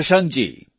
Shashankji